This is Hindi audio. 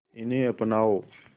इन्हें अपनाओ